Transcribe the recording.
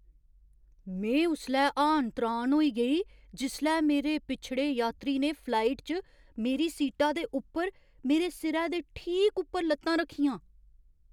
में उसलै हाण त्राण होई गेई जिसलै मेरे पिछड़े यात्री ने फ्लाइट च मेरी सीटा दे उप्पर मेरे सिरै दे ठीक उप्पर लत्तां रक्खियां!